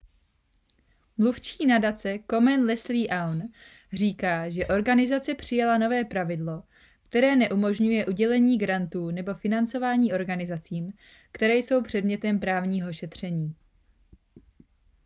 mluvčí nadace komen leslie aun říká že organizace přijala nové pravidlo které neumožňuje udělení grantů nebo financování organizacím které jsou předmětem právního šetření